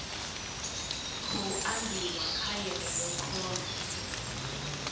khou ambiwa kha yeneyi khoro